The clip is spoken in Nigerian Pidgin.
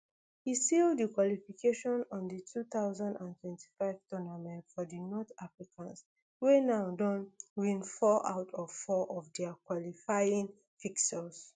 e seal di qualification to di two thousand and twenty-five tournament for di north africans wey now don win four out of four of dia qualifying fixtures